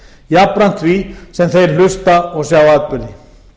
jafnframt því sem þeir hlusta og sjá atburði